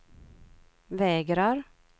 vägrar